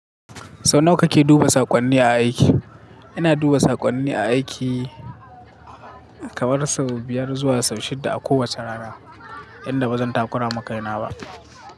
Sau nawa kake duba saƙonni a aiki? Ina duba saƙonni a aiki kamar sau biyar zuwa sau shidda a kowace rana, inda ba zan takura makaina ba.